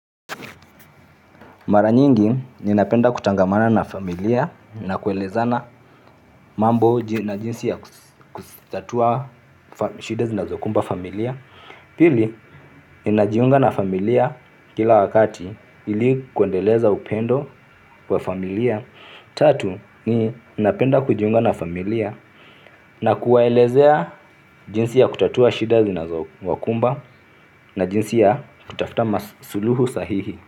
Mara nyingi ninapenda kutangamana na familia na kuelezana mambo na jinsi ya kutatua shida zinazokumba familia. Pili ninajiunga na familia kila wakati ili kuendeleza upendo wa familia. Tatu ninapenda kujiunga na familia na kuwaelezea jinsi ya kutatua shida zinazowakumba na jinsi ya kutafuta masuluhu sahihi.